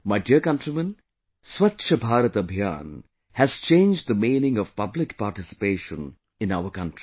My dear countrymen, Swachh Bharat Abhiyan has changed the meaning of public participation in our country